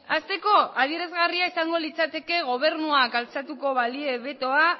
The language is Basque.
hasteko adierazgarria izango litzateke gobernuak altxatuko balie betoa